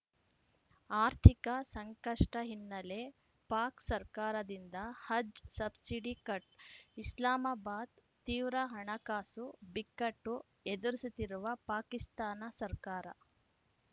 ಆರ್ಥಿಕ ಸಂಕಷ್ಟಹಿನ್ನೆಲೆ ಪಾಕ್‌ ಸರ್ಕಾರದಿಂದ ಹಜ್‌ ಸಬ್ಸಿಡಿ ಕಟ್‌ ಇಸ್ಲಾಮಾಬಾದ್‌ ತೀವ್ರ ಹಣಕಾಸು ಬಿಕ್ಕಟ್ಟು ಎದುರಿಸುತ್ತಿರುವ ಪಾಕಿಸ್ತಾನ ಸರ್ಕಾರ